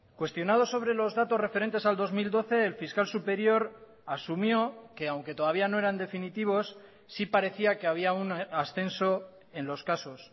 cuestionado sobre los datos referentes al dos mil doce el fiscal superior asumió que aunque todavía no eran definitivos sí parecía que había un ascenso en los casos